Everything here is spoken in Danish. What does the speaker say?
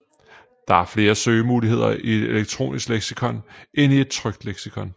Der er flere søgemuligheder i et elektronisk leksikon end i et trykt leksikon